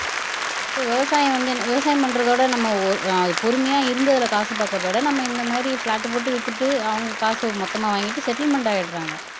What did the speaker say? இப்ப விவசாயம் வந்து என்ன விவசாயம் பண்றதோட நம்ம ஓ ஆஹ் பொறுமையா இருந்ததுல காசு பாக்குறதை விட நம்ம இந்த மாதிரி பிளாட் போட்டு வித்துட்டு அவங்க காச மொத்தமா வாங்கிட்டு செட்டில்மென்ட் ஆயிடுறாங்க